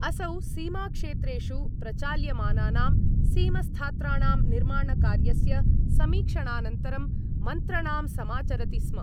असौ सीमाक्षेत्रेषु प्रचाल्यमानानां सीमस्थात्राणां निर्माणकार्यस्य समीक्षणानन्तरं मन्त्रणाम् समाचरति स्म।